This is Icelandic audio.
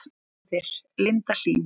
Móðir Linda Hlín.